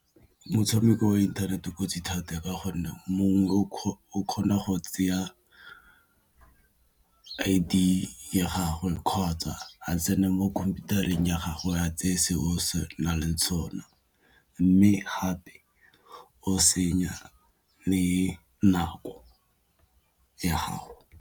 Motshameko wa inthanete kotsi thata ka gonne mongwe o kgona go I_D ya gagwe kgotsa a tsene mo khomputareng ya gago ya tseye se o se na leng mme gape o senya le nako ya gago.